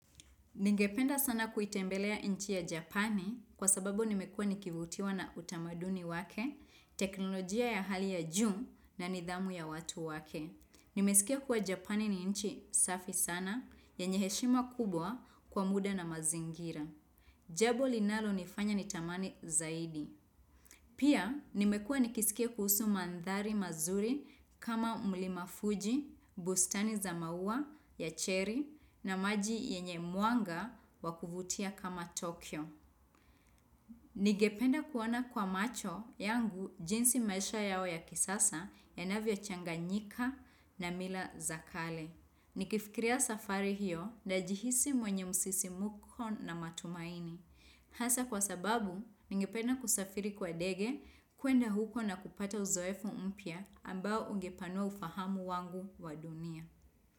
Ningependa sana kuitembelea inchi ya Japan, kwa sababu nimekuwa nikivutiwa na utamaduni wake, teknolojia ya hali ya juu, na nidhamu ya watu wake. Nimesikia kuwa Japani ni inchi safi sana, yenye heshima kubwa kwa muda na mazingira. Jabo linalonifanya nitamani zaidi. Pia nimekuwa nikisikia kuhusu mandhari mazuri kama umlimafuji, bustani za maua, yacheri na maji yenye muanga wa kuvutia kama Tokyo. Ningependa kuwaona kwa macho yangu jinsi maisha yao ya kisasa yanavyochanganyika na mila za kale. Nikifikiria safari hiyo, najihisi mwenye msisimko na matumaini. Hasa kwa sababu, ningependa kusafiri kwa ndege, kuenda huko na kupata uzoefu mpya ambao ungepanua ufahamu wangu wa dunia.